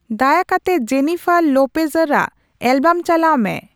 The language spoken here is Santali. ᱫᱟᱭᱟ ᱠᱟᱛᱮ ᱡᱮᱱᱤᱯᱷᱟᱨ ᱞᱳᱯᱮᱡᱮᱨ ᱟᱜ ᱮᱞᱵᱟᱢ ᱪᱟᱞᱟᱣ ᱢᱮ